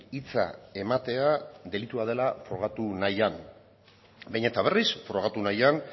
hitza ematea delitua dela frogatu nahian behin eta berriz frogatu nahian